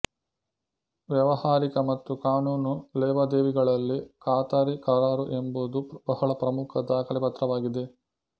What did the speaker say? ವ್ಯಾವಹಾರಿಕ ಮತ್ತು ಕಾನೂನು ಲೇವಾದೇವಿಗಳಲ್ಲಿ ಖಾತರಿ ಕರಾರು ಎಂಬುದು ಬಹಳ ಪ್ರಮುಖ ದಾಖಲೆಪತ್ರವಾಗಿದೆ